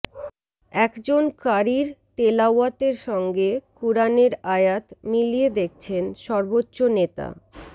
একজন ক্বারীর তেলাওয়াতের সঙ্গে কুরআনের আয়াত মিলিয়ে দেখছেন সর্বোচ্চ নেতা